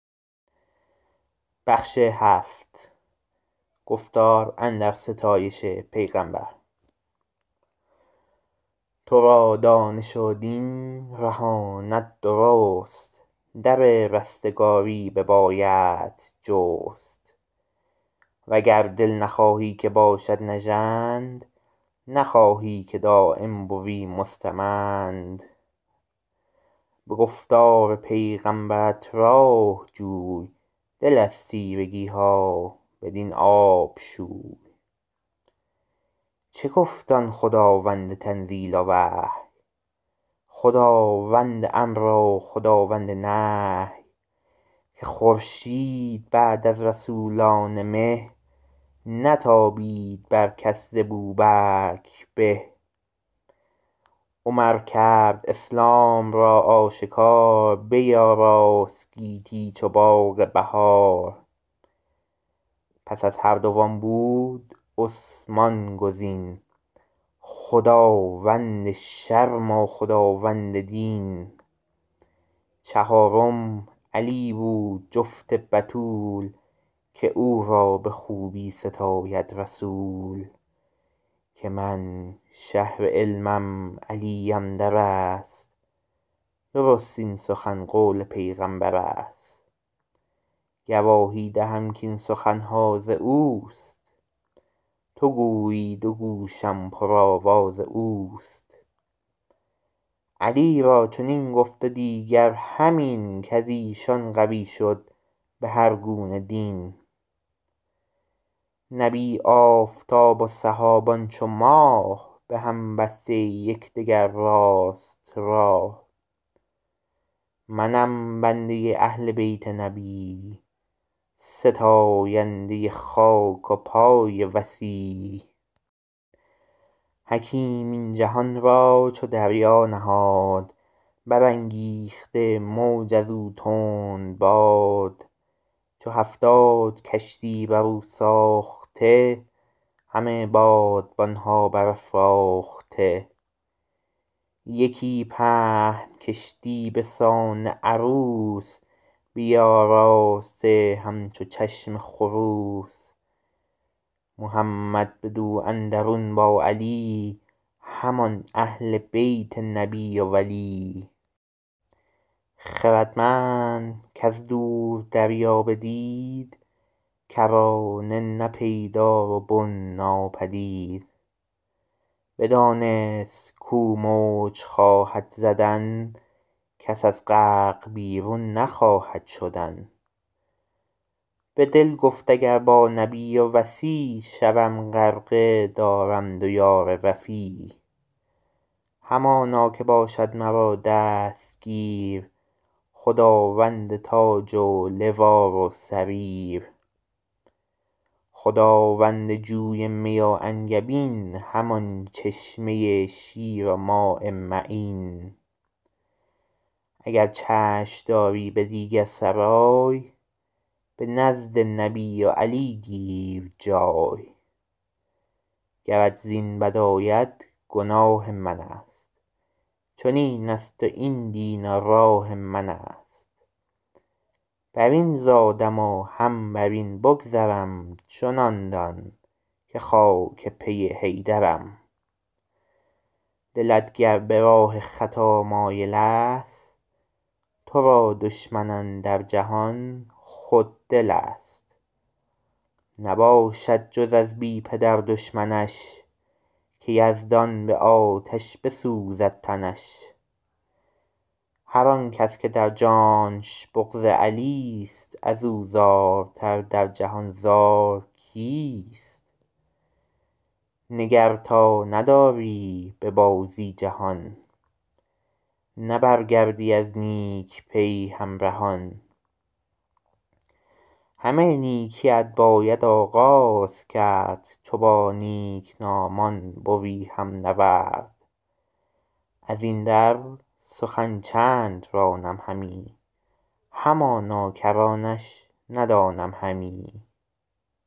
تو را دانش و دین رهاند درست در رستگاری ببایدت جست وگر دل نخواهی که باشد نژند نخواهی که دایم بوی مستمند به گفتار پیغمبرت راه جوی دل از تیرگی ها بدین آب شوی چه گفت آن خداوند تنزیل و وحی خداوند امر و خداوند نهی که خورشید بعد از رسولان مه نتابید بر کس ز بوبکر به عمر کرد اسلام را آشکار بیاراست گیتی چو باغ بهار پس از هر دو آن بود عثمان گزین خداوند شرم و خداوند دین چهارم علی بود جفت بتول که او را به خوبی ستاید رسول که من شهر علمم علیم در است درست این سخن قول پیغمبر است گواهی دهم کاین سخن ها از اوست تو گویی دو گوشم پر آواز اوست علی را چنین گفت و دیگر همین کز ایشان قوی شد به هر گونه دین نبی آفتاب و صحابان چو ماه به هم بسته یک دگر راست راه منم بنده اهل بیت نبی ستاینده خاک پای وصی حکیم این جهان را چو دریا نهاد برانگیخته موج از او تندباد چو هفتاد کشتی بر او ساخته همه بادبان ها بر افراخته یکی پهن کشتی به سان عروس بیاراسته همچو چشم خروس محمد بدو اندرون با علی همان اهل بیت نبی و ولی خردمند کز دور دریا بدید کرانه نه پیدا و بن ناپدید بدانست کو موج خواهد زدن کس از غرق بیرون نخواهد شدن به دل گفت اگر با نبی و وصی شوم غرقه دارم دو یار وفی همانا که باشد مرا دستگیر خداوند تاج و لوا و سریر خداوند جوی می و انگبین همان چشمه شیر و ماء معین اگر چشم داری به دیگر سرای به نزد نبی و علی گیر جای گرت زین بد آید گناه من است چنین است و این دین و راه من است بر این زادم و هم بر این بگذرم چنان دان که خاک پی حیدرم دلت گر به راه خطا مایل است تو را دشمن اندر جهان خود دل است نباشد جز از بی پدر دشمنش که یزدان به آتش بسوزد تنش هر آنکس که در جانش بغض علی ست از او زارتر در جهان زار کیست نگر تا نداری به بازی جهان نه برگردی از نیک پی همرهان همه نیکی ات باید آغاز کرد چو با نیک نامان بوی هم نورد از این در سخن چند رانم همی همانا کرانش ندانم همی